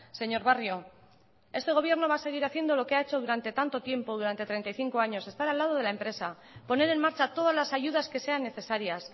señor barrio este gobierno va a seguir haciendo lo que ha hecho durante tanto tiempo durante treinta y cinco años estar al lado de la empresa poner en marcha todas las ayudas que sean necesarias